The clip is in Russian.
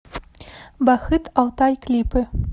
бахыт алтай клипы